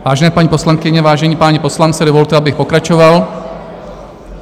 Vážené paní poslankyně, vážení páni poslanci, dovolte, abych pokračoval.